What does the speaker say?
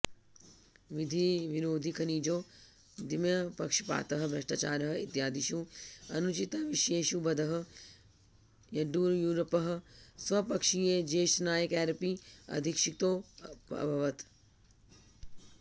विधिविरोधिखनिजोद्यमपक्षपातः भ्रष्टाचारः इत्यादिषु अनुचिताविषयेषु बध्दः यड्ड्यूरप्पः स्वपक्षीयज्येष्ठनायकैरपि अधिक्षिप्तोऽभवत्